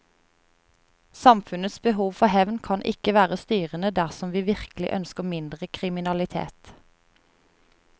Samfunnets behov for hevn kan ikke være styrende dersom vi virkelig ønsker mindre kriminalitet.